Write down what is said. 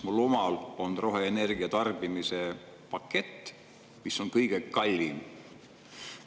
Mul omal on roheenergia tarbimise pakett, mis on kõige kallim.